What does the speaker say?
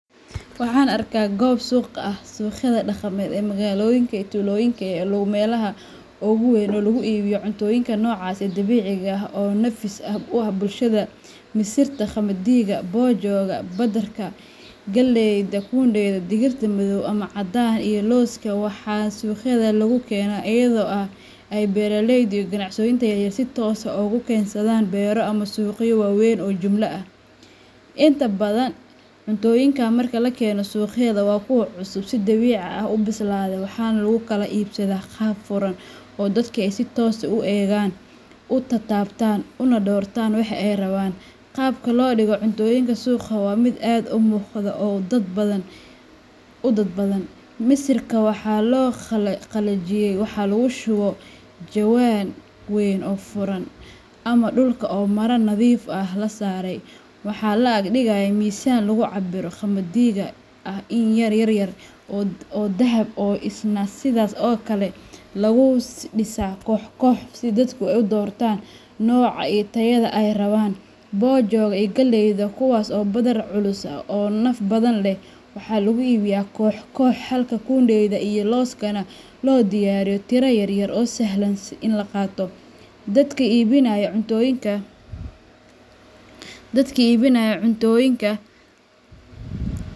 Waxan arka gob suq ah. Suuqyada dhaqameed ee magaalooyinka iyo tuulooyinka ayaa ah meelaha ugu weyn ee lagu iibiyo cuntooyinka noocaas ah ee dabiiciga ah oo nafis u ah bulshada. Misirta, qamadiga, boojoga badarka, galleyda, kundeyda digirta madow ama caddaan, iyo looska waxaa suuqyada lagu keenaa iyadoo ay beeraleyda iyo ganacsatada yar yar ay si toos ah uga keensadaan beero ama suuqyo waaweyn oo jumlad ah. Inta badan cuntooyinkan marka la keenayo suuqyada waa kuwo cusub, si dabiici ah u bislaaday, waxaana lagu kala iibsadaa qaab furan oo dadku ay si toos ah u eegaan, u taabtaan, una doortaan waxa ay rabaan. Qaabka loo dhigo cuntooyinkan suuqa waa mid aad u muuqda oo dadban: Misirka oo la qalajiyey waxaa lagu shubaa jawaan weyn oo furan ama dhulka oo maro nadiif ah la saaray, waxaana la ag dhigayaa miisaan lagu cabiro. Qamadiga oo ah iniin yar yar oo dahab ah ayaa isna sidaas oo kale lagu dhisaa koox koox, si dadku u doortaan nooca iyo tayada ay rabaan. Bojoga iyo galleyda, kuwaas oo ah badar culus oo naf badan leh, waxaa lagu iibiyaa koox koox, halka kundeyda iyo looskuna loo diyaariyo tiro yar yar oo sahlan in la qaato. Dadka iibinaya cuntooyinka, dadka iibinaya cuntooyinka.